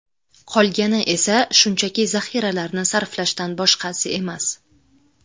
Qolgani esa shunchaki zaxiralarni sarflashdan boshqasi emas.